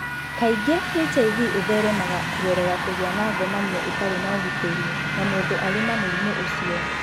Kaingĩ HIV ĩtheremaga kũgerera kũgĩa na ngomanio ĩtarĩ na ũgitĩri na mũndũ arĩ na mũrimũ ũcio.